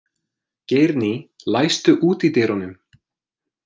Geirný, læstu útidyrunum.